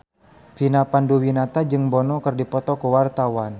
Vina Panduwinata jeung Bono keur dipoto ku wartawan